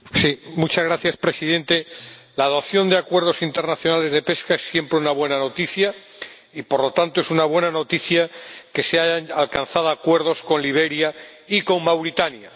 Señor Presidente, la adopción de acuerdos internacionales de pesca siempre es una buena noticia y, por lo tanto, es una buena noticia que se hayan alcanzado acuerdos con Liberia y con Mauritania.